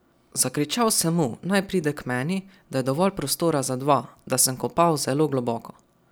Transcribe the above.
Zakričal sem mu, naj pride k meni, da je dovolj prostora za dva, da sem kopal zelo globoko.